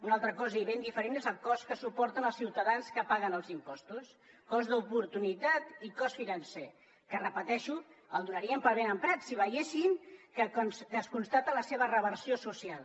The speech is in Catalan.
una altra cosa i ben diferent és el cost que suporten els ciutadans que paguen els impostos cost d’oportunitat i cost financer que ho repeteixo el donaríem per ben emprat si veiéssim que es constata la seva reversió social